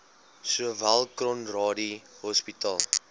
sowel conradie hospitaal